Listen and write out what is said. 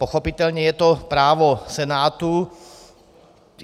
Pochopitelně je to právo Senátu.